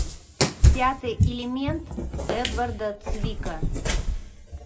пятый элемент эдварда цвика